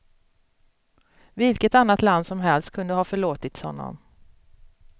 Vilket annat land som helst kunde ha förlåtits honom.